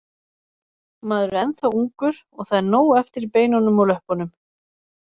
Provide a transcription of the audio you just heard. Maður er ennþá ungur og það er nóg eftir í beinunum og löppunum.